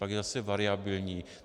Pak je zase variabilní.